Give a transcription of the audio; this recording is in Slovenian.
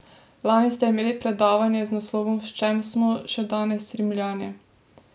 Lani ste imeli predavanje z naslovom V čem smo še danes Rimljani?